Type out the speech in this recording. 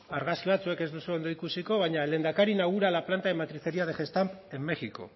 argazki batzuk ez dituzu ondo ikusiko baina lehendakari inaugura la planta de matricería de gestamp en méjico